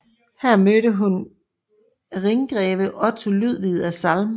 Her mødte hun rhingreve Otto Ludvig af Salm